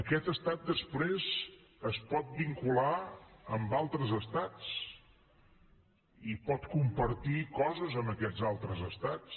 aquest estat després es pot vincular amb altres estats i pot compartir coses amb aquests altres estats